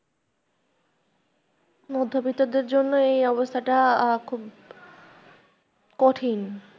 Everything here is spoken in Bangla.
মধ্যবিত্তদের জন্য এই অবস্থাটা খুব কঠিন।